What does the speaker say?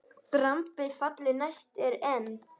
Drambið falli næst er enn.